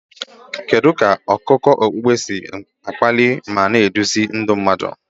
Kedu ka akụkọ okpukpe si akpali ma na-eduzi ndị mmadụ?